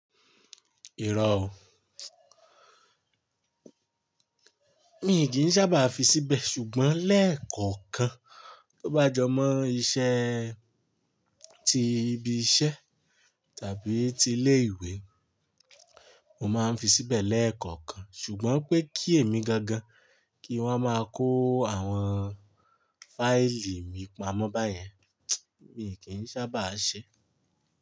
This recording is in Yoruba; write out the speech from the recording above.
Irọ́ o. Mi kì í sábà fi síbẹ̀ ṣùgbọ́n lẹ́ẹ̀kọ̀kan tó bá jọ mọ́ iṣẹ́ ti ibi iṣẹ́ tàbí ti ilé ìwé, mo máa ń fi síbẹ̀ lẹ́ẹ̀kọ̀kan. Ṣùgbọ́n pé kí èmi gangan kí wọ́n máa kó àwọn fáìlì mi pamọ́ báyẹn, mi kì í sábà ṣe.